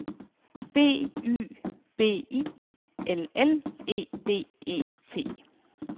B Y B I L L E D E T